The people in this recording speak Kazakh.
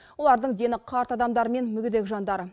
олардың дені қарт адамдар мен мүгедек жандар